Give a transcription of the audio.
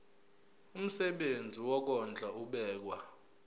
umsebenzi wokondla ubekwa